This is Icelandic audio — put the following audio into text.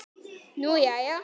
Nú jæja.